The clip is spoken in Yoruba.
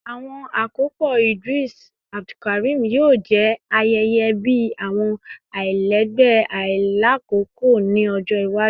Awọn akopọ Idris Abdulkarim yoo jẹ ayẹyẹ bi awọn alailẹgbẹ ailakoko ni ọjọ iwaju